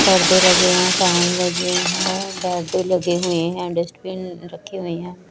पर्दे लगे है फैन लगे है बेड लगे हुए है डस्टबिन रखी हुई हैं।